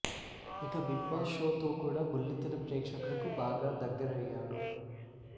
ఇక Bigg Boss show తో కూడా బుల్లితెర ప్రేక్షకులకు బాగా దగ్గరయ్యాడు